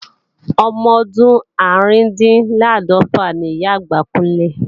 Ọmọdún árùndinláàdọ́fà ni Ìyá-àgbà Kúnlé